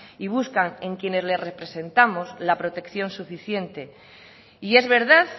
y buscan en quienes les representamos la protección suficiente y es verdad